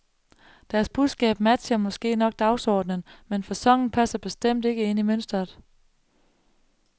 Deres budskab matcher måske nok dagsordenen, men faconen passer bestemt ikke ind i mønstret.